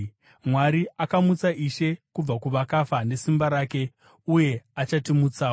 Mwari akamutsa Ishe kubva kuvakafa nesimba rake uye achatimutsawo.